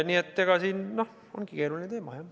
Nii et see ongi keeruline teema.